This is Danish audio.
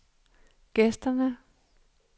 gæsterne